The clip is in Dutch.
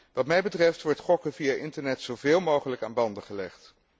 Wat mij betreft wordt gokken via internet zoveel mogelijk aan banden gelegd.